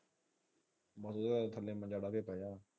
ਮੁੰਡੀਏ ਥਲੇ ਮਜਾ ਵੀ ਪਏਗਾ।